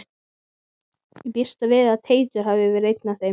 Ég býst við að Teitur hafi verið einn af þeim.